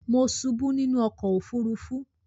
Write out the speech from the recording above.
Mo subú nínú okò òfurufú